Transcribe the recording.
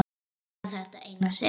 En bara þetta eina sinn.